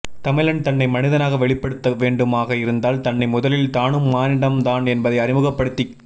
தமிழன் தன்னை மனிதனாக வெளிப்படுத்த வேண்டுமாக இருந்தால் தன்னை முதலில் தானும் மானிடம் தான் என்பதை அறிமுகப் படுத்திக்